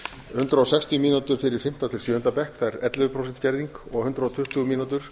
hundrað sextíu mínútur fyrir fimmta til sjöunda bekk það er ellefu prósent skerðing og hundrað tuttugu mínútur